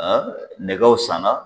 nɛgɛw sanna.